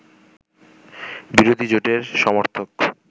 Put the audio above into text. বিরোধী জোটের সমর্থক